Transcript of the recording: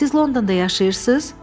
Siz Londonda yaşayırsız?